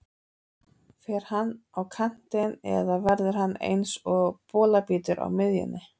Fer hann á kantinn eða verður hann eins og bolabítur á miðjunni?